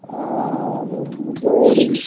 ആഹ് ഉം ജോലി